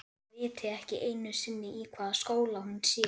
Þeir viti ekki einu sinni í hvaða skóla hún sé.